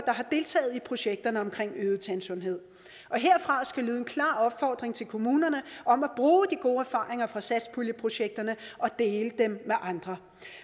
har deltaget i projekterne omkring øget tandsundhed herfra skal lyde en klar opfordring til kommunerne om at bruge de gode erfaringer fra satspuljeprojekterne og dele dem med andre